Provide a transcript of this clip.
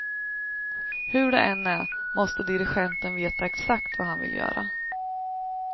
Hur det än är måste dirigenten veta exakt vad han vill göra.